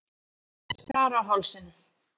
Skar á hálsinn.